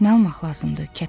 Nə almaq lazımdır?